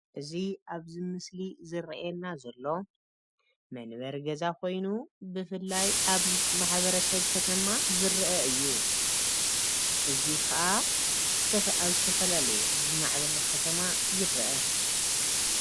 እዚ ኣብ ዚ ምስሊ እዚ ዝረአየና ዘሎ መንበሪ ገዛ ኮይኑ ብፍላይ ኣብ ማሕበረ ሰብ ከተማ ዝረአ እዩ። እዚ ከዓ ኣብ ዝተፈላለየ ዝማዕበለ ከተማ ይረአ።